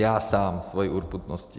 Já sám svojí urputností.